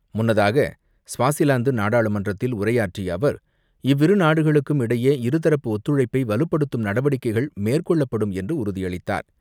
முன்னதாக, ஸ்வாசிலாந்து நாடாளுமன்றத்தில் உரையாற்றிய அவர், இவ்விரு நாடுகளுக்கும் இடையே இருதரப்பு ஒத்துழைப்பை வலுப்படுத்தும் நடவடிக்கைகள் மேற்கொள்ளப்படும் என்று உறுதியளித்தார்.